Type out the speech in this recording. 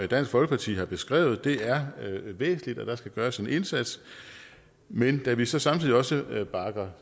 dansk folkeparti har beskrevet er væsentligt og at der skal gøres en indsats men da vi så samtidig også bakker